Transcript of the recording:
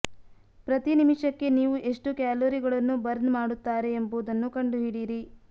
ಪ್ರತಿ ನಿಮಿಷಕ್ಕೆ ನೀವು ಎಷ್ಟು ಕ್ಯಾಲೊರಿಗಳನ್ನು ಬರ್ನ್ ಮಾಡುತ್ತಾರೆ ಎಂಬುದನ್ನು ಕಂಡುಹಿಡಿಯಿರಿ